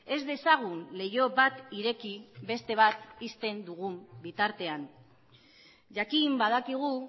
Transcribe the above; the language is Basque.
ez dezagun leiho bat ireki beste bat ixten dugun bitartean jakin badakigu